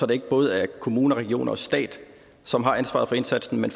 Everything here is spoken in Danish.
det ikke både er kommuner regioner og stat som har ansvaret for indsatsen men